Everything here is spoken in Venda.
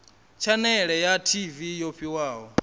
tshanele ya tv yo fhiwaho